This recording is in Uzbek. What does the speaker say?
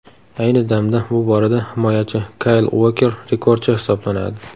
Ayni damda bu borada himoyachi Kayl Uoker rekordchi hisoblanadi.